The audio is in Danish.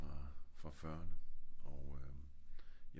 den var fra 40erne og øhm